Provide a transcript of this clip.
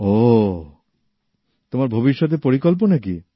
ওহহ তোমার ভবিষ্যতের পরিকল্পনা কি